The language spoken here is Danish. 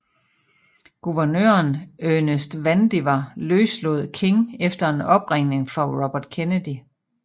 Guvernøren Ernest Vandiver løslod King efter en opringning fra Robert Kennedy